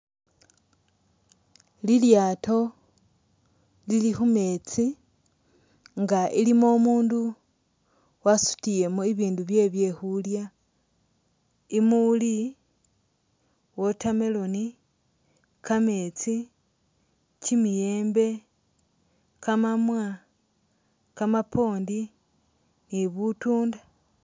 Lilyaato lili khumeetsi nga ilimo umundu wasutiyemo bibindu byewe byekhulyaa, mumuli watermelon, kameetsi, kimiyeembe, kamamwa, kamapondi ni butunda